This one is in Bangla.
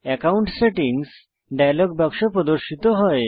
একাউন্ট সেটিংস ডায়লগ বাক্স প্রদর্শিত হয়